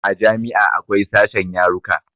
A jami'a akwai sashen yaruka